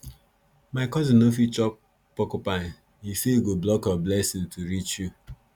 my cousin no fit chop porcupine he say e go block your blessings to reach you